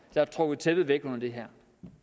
har trukket tæppet væk under det her